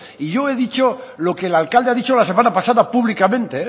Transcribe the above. y yo he dicho lo que el alcalde ha dicho la semana pasada públicamente